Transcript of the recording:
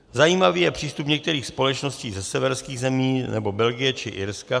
Zajímavý je přístup některých společností ze severských zemí nebo Belgie či Irska.